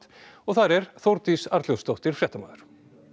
og þar er Þórdís Arnljótsdóttir fréttamaður